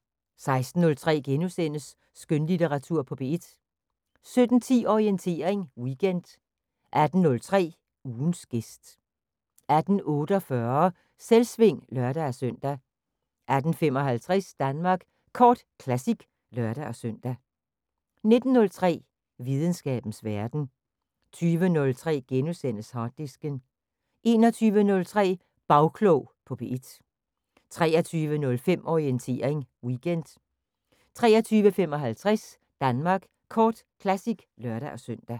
16:03: Skønlitteratur på P1 * 17:10: Orientering Weekend 18:03: Ugens gæst 18:48: Selvsving (lør-søn) 18:55: Danmark Kort Classic (lør-søn) 19:03: Videnskabens Verden 20:03: Harddisken * 21:03: Bagklog på P1 23:05: Orientering Weekend 23:55: Danmark Kort Classic (lør-søn)